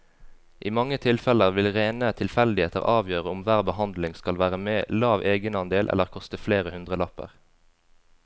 I mange tilfeller vil rene tilfeldigheter avgjøre om hver behandling skal være med lav egenandel eller koste flere hundrelapper.